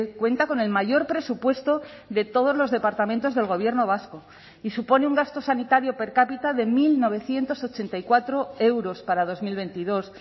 cuenta con el mayor presupuesto de todos los departamentos del gobierno vasco y supone un gasto sanitario per cápita de mil novecientos ochenta y cuatro euros para dos mil veintidós